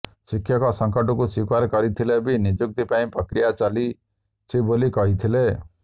ଶିକ୍ଷକ ସଙ୍କଟକୁ ସ୍ୱୀକାର କରିଥିଲେ ବି ନିଯୁକ୍ତି ପାଇଁ ପ୍ରକ୍ରିୟା ଚାଲିଛି ବୋଲି କହିଥିଲେ